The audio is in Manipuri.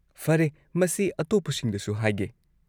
ꯐꯔꯦ, ꯃꯁꯤ ꯑꯇꯣꯞꯄꯁꯤꯡꯗꯁꯨ ꯍꯥꯏꯒꯦ꯫